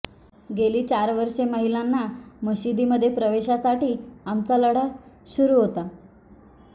गेली चार वर्षे महिलांना मशिदीमध्ये प्रवेशासाठी आमचा लढा सुरू होता